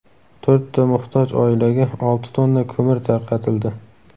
To‘rtta muhtoj oilaga olti tonna ko‘mir tarqatildi.